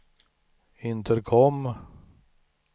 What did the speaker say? intercom